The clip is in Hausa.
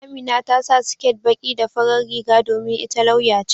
Amina ta sa siket baƙi da farar riga domin ita lauya ce.